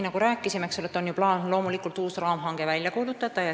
Nagu rääkisime, oli eelmise aasta lõpus loomulikult plaanis kuulutada välja uus raamhange.